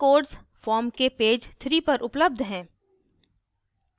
codes form के page 3 पर उपलब्ध हैं